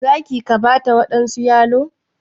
za ka/ki Bata wadansu yalo?